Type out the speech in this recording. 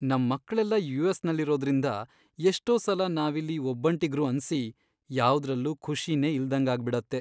ನಮ್ ಮಕ್ಳೆಲ್ಲ ಯು.ಎಸ್.ನಲ್ಲಿರೋದ್ರಿಂದ ಎಷ್ಟೋ ಸಲ ನಾವಿಲ್ಲಿ ಒಬ್ಬಂಟಿಗ್ರು ಅನ್ಸಿ ಯಾವುದ್ರಲ್ಲೂ ಖುಷಿನೇ ಇಲ್ದಂಗಾಗ್ಬಿಡತ್ತೆ.